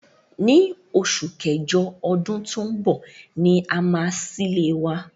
Ní osù kẹ́jọ odún to n bò ni a máa sílé wa